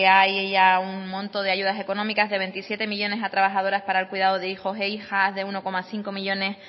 haya un monto de ayudas económicas de veintisiete millónes a trabajadoras para el cuidado de hijos e hijas de uno coma cinco millónes